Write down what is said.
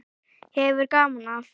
Hefur gaman af.